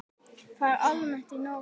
Það er almennt í Noregi.